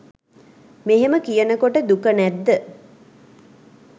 මෙහෙම කියනකොට දුක නැද්ද?